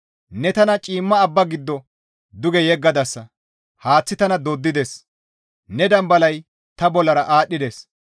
Ne tana ciimma abba giddo duge yeggadasa; haaththi tana dooddides; ne Dambalay ta bollara aadhdhides.